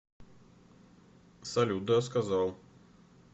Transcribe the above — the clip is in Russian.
салют да сказал